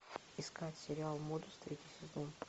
искать сериал модус третий сезон